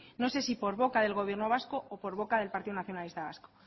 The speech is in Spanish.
no sé si por boca del gobierno vasco o por boca del partido nacionalista vasco